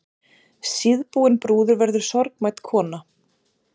Síðbúin brúður verður sorgmædd kona.